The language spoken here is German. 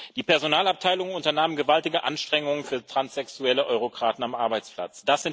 Die Personalabteilungen unternahmen gewaltige Anstrengungen für transsexuelle Eurokraten am Arbeitsplatz.